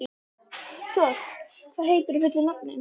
Thor, hvað heitir þú fullu nafni?